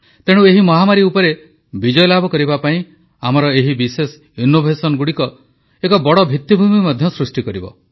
ତେଣୁ ଏହି ମହାମାରୀ ଉପରେ ବିଜୟଲାଭ କରିବା ପାଇଁ ଆମର ଏହି ବିଶେଷ କାର୍ଯ୍ୟ ଗୁଡ଼ିକ ମଧ୍ୟ ଏକ ବଡ଼ ଭିତ୍ତିଭୂମି ସୃଷ୍ଟି କରିବ